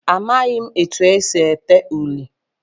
Amaghị etu e si ede uri.